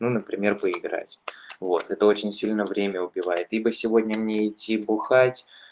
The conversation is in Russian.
ну например поиграть вот это очень сильно время убивает ибо сегодня мне идти бухать